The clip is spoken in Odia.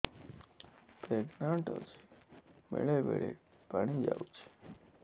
ପ୍ରେଗନାଂଟ ଅଛି ବେଳେ ବେଳେ ପାଣି ଯାଉଛି